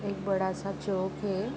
एक बड़ा-सा चौक है।